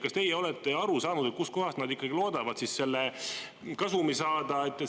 Kas teie olete aru saanud, et kust kohast nad ikkagi loodavad siis selle kasumi saada?